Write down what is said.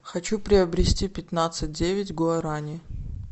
хочу приобрести пятнадцать девять гуарани